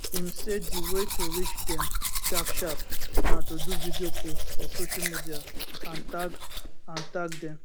im say di way to reach dem sharp sharp na to do video post for social media and tag and tag dem